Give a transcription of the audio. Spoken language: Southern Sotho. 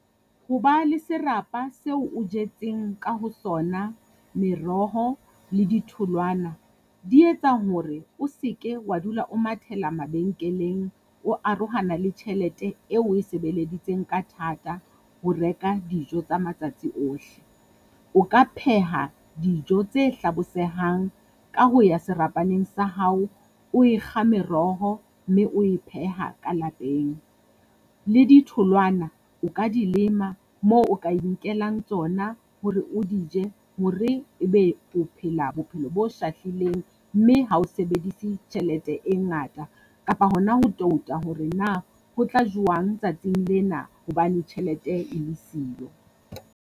Ho ba le serapa seo o jetseng ka ho sona meroho le ditholwana, di etsa hore o se ke wa dula o mathela mabenkeleng, o arohana le tjhelete eo e sebeleditsweng ka thata. Ho reka dijo ka matsatsi ohle. O ka pheha dijo tse hlabosehang ka ho ya serapaneng sa hao, o e kga meroho mme o e pheha ka lapeng. Le ditholwana o ka di lema moo o ka inkelang tsona hore o di je, hore e be o phela bophelo bo shahlileng mme ha o sebedise tjhelete e ngata kapa hona ho touta hore na ho tla jowang tsatsing lena hobane tjhelete e le siyo.